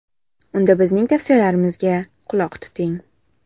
Unda bizning tavsiyalarimizga quloq tuting.